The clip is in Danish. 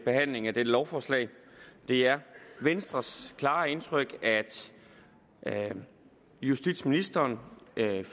behandlingen af dette lovforslag det er venstres klare indtryk at at justitsministeren med dette